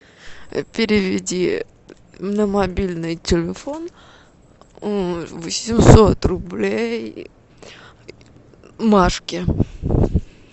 переведи на мобильный телефон восемьсот рублей машке